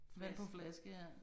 Vand på flaske ja